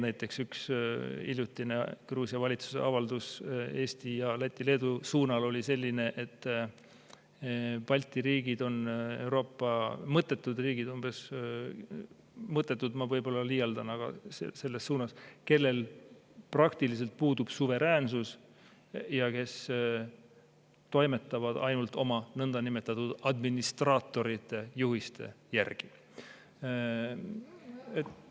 Näiteks üks hiljutine Gruusia valitsuse avaldus Eesti, Läti ja Leedu suunal oli selline, et Balti riigid on Euroopa mõttetud riigid – "mõttetud" öeldes ma võib-olla liialdan, aga selles suunas see oli –, kellel praktiliselt puudub suveräänsus ja kes toimetavad ainult oma nõndanimetatud administraatorite juhiste järgi.